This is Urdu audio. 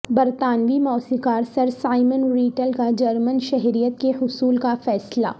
برطانوی موسیقار سر سائمن ریٹل کا جرمن شہریت کے حصول کا فیصلہ